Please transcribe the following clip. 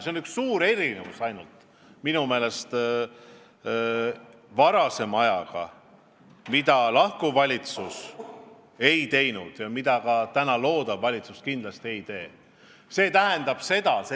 Aga võrreldes varasema ajaga on üks suur erinevus, mida viimane valitsus ei teinud ja mida ka täna loodav valitsus kindlasti ei tee.